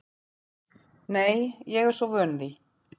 Nei, ég er svo vön því.